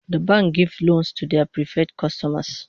The bank gives loans to their preferred customers